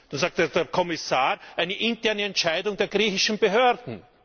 Da sagt der Kommissar eine interne Entscheidung der griechischen Behörden.